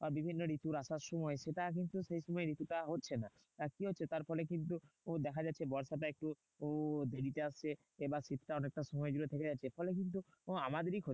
বা বিভিন্ন ঋতুরা সবসময় সেটা এখন কিন্তু সেই সময় ঋতুটা হচ্ছে না। আহ কি হচ্ছে? তার ফলে কিন্তু দেখা যাচ্ছে বর্ষাটা একটু দেরিতে আসছে বা শীতটা অনেকটা সময় থেকে যাচ্ছে। ফলে কিন্তু আমাদেরই ক্ষতি।